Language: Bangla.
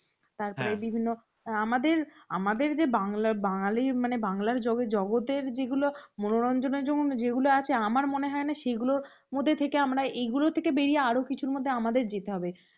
আমাদের আমাদের যে বাংলা বাঙালি মানে বাংলার জগতের যেগুলো মনোরঞ্জন এর জন্য যেগুলো আছে আমার মনে হয় না সেগুলোর মধ্যে থেকে আমরা এগুলো থেকে বেরিয়ে আরও কিছু মধ্যে আমাদের যেতে হবে